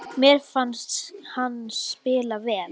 Mér fannst hann spila vel.